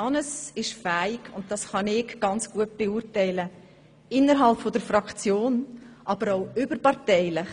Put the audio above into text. Hannes ist fähig – und das kann ich sehr gut beurteilen – innerhalb der Fraktion aber auch überparteilich